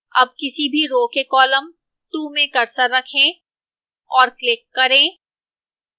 अब किसी भी row के column 2 में cursor रखें और click करें